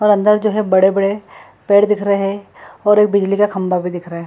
और अंदर जो है बड़े-बड़े पेड़ दिख रहे हैं और एक बिजली का खंभा भी दिख रहा है।